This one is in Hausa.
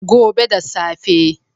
Gobe da safe.